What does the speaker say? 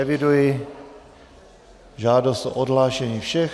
Eviduji žádost o odhlášení všech.